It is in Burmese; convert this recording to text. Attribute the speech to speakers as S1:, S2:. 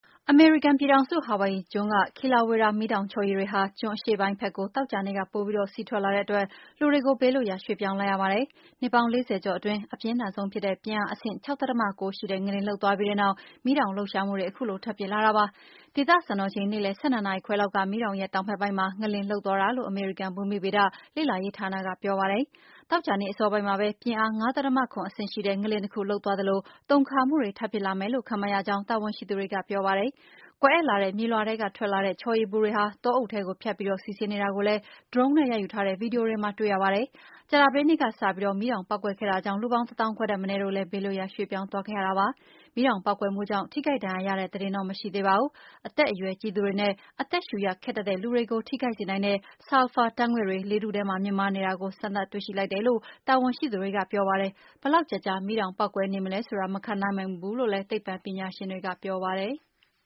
S1: အမေရိကန်ပြည်ထောင်စု၊ ဟာဝိုင်ယီကျွန်းက Kilaueu မီးတောင် ချော်ရည်တွေဟာ ကျွန်းအရှေ့ပိုင်းဘက်ကို သောကြာနေ့က ပိုပြီး စီးထွက်လာတဲ့အတွက် လူတွေကို ဘေးလွတ်ရာရွှေ့ပြောင်းလိုက်ရပါတယ်။ နှစ်ပေါင်း ၄၀ ကျော်အတွင်း အပြင်းထန်ဆုံးဖြစ်တဲ့ ပြင်းအားအဆင့် ၆.၉ ရှိ ငလျင်လှုပ်သွားပြီးတဲ့နောက် မီးတောင်လှုပ်ရှားမှုတွေ ခုလိုထပ်ဖြစ်လာတာပါ။ ဒေသစံတော်ချိန်နေ့လည် ၁၂ နာရီ ခွဲလောက်က မီးတောင်ရဲ့ တောင်ဘက်ပိုင်းမှာ ငလျင်လှုပ်သွားတာလို့ အမေရိကန်ဘူမိဗေဒလေ့လာရေးဌာနက ပြောပါတယ်။ သောကြာနေ့အစောပိုင်းမှာပဲ ပြင်းအား ၅.၇ အဆင့်ရှိတဲ့ ငလျင်တခု လှုပ်သွားသလို ငလျင်တွေထပ်လှုပ်မယ်လို့ ခန့်မှန်းရကြောင်း တာဝန်ရှိသူတွေကပြောပါတယ်။ ကွဲအက်လာတဲ့ မြေလွှာထဲကထွက်လာတဲ့ ချော်ရည်ပူတွေ တောအုပ်ထဲကို ဖြတ်ပြီးစီးဆင်းနေတာကိုလည်း ဒရုန်းနဲ့ရိုက်ယူထားတဲ့ ဗီဒီယိုတွေမှာတွေ့ရပါတယ်။ ကြာသပတေးနေ့ကစပြီး မီးတောင်ပေါက်ကွဲခဲ့တာကြောင့် ထောင့်ငါးရာ ထက်မနည်းတို့လည်း ဘေးလွတ်ရာ ပြောင်းရွှေ့သွားခဲ့ရပါတယ်။ မီးတောင်ပေါက်ကွဲမှုကြောင့် ထိခိုက်ဒဏ်ရာရတဲ့ သတင်းတော့မရှိသေးပါဘူး။ အသက်အရွယ်ကြီးသူတွေ နဲ့ အသက်ရှုရ ခက်တတ်တဲ့ လူတွေကို ထိခိုက်စေနိုင်တဲ့ ဆာလဖာ ဓာတ်ငွေ့တွေလေထုထဲမှာ မြင့်မားနေတာကို စမ်းသပ်တွေ့ရှိလိုက်တယ်လို့ တာဝန်ရှိသူတွေကပြောပါတယ်။ ဘယ်လောက်ကြာကြာမီးတောင်ပေါက်ကွဲနေမလဲဆိုတာ မခန့်မှန်းနိုင်ဘူးလို့လည်း သိပ္ပံပညာရှင်တွေကပြောပါတယ်။